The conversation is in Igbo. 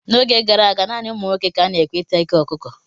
N'oge gara aga, naanị ụmụ nwoke ka a na-ekwe ịta eko ọkụkọ.